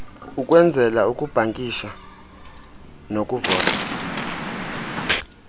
ukwenzela ukubhankisha nokuvota